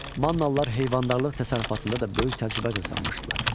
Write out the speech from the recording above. Mannalılar heyvandarlıq təsərrüfatında da böyük təcrübə qazanmışdılar.